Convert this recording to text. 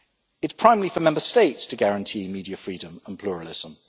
It is primarily for Member States to guarantee media freedom and pluralism.